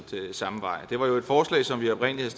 samme vej det var jo et forslag som vi oprindelig